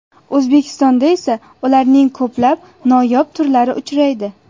O‘zbekistonda esa ularning ko‘plab noyob turlari uchraydi.